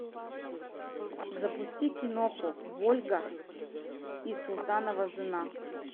запусти киноху вольга и султанова жена